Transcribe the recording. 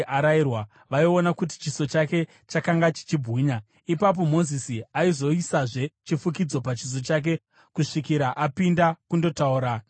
vaiona kuti chiso chake chakanga chichibwinya. Ipapo Mozisi aizoisazve chifukidzo pachiso chake kusvikira apinda kundotaura naJehovha.